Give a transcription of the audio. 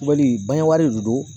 Wali de don